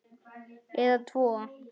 Eða tvo.